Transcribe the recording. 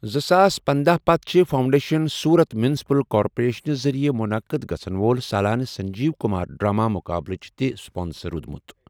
زٕساس پندہَ پتہٕ چھِ فاؤنڈیشن سورت میونسپل کارپوریشنہٕ ذٔریعہٕ منعقد گژھَن وول سالانہٕ سنجیو کُمار ڈرامہ مُقابلٕچ تہِ سپانسر روٗدمُت۔